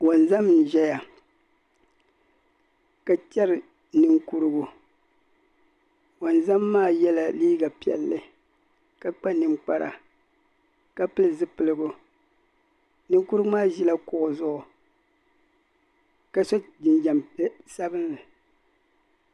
wanzam n ʒeya ka cheri ninkurigu wanzam maa kpa la ninkpara ka pili zipiligu ninkurigu maa ʒi la kuɣu zuɣu ka so jinjam sabinli.